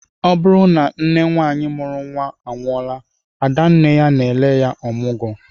Ọ bụrụ na nne nwaanyị mụrụ nnwa anwụọla, ada nne ya na-ele ya ọmụgwọ